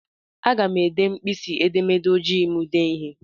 Aga n eji mkpịsị edemede ojii m dee ihe.